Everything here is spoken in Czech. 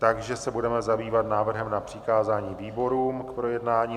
Takže se budeme zabývat návrhem na přikázání výborům k projednání.